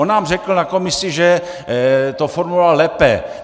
On nám řekl na komisi, že to formuloval lépe.